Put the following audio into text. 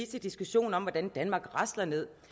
til diskussionen om hvordan danmark rasler ned